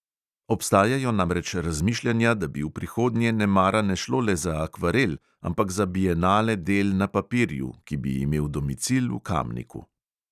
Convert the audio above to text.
Obstajajo namreč razmišljanja, da bi v prihodnje nemara ne šlo le za akvarel, ampak za bienale del na papirju, ki bi imel domicil v kamniku.